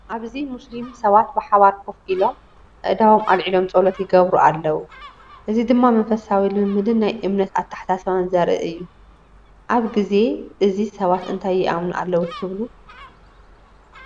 ኣብዚ ሙስሊም ሰባት ብሓባር ኮፍ ኢሎም ኣእዳዎም ኣልዒሎም ጸሎት ይገብሩ ኣለዉ። እዚ ድማ መንፈሳዊ ልምምድን ናይ እምነት ኣተሓሳስባን ዘርኢ እዩ። ኣብዚ ግዜ እዚ ሰባት እንታይ ይኣምኑ ኣለዉ ትብሉ?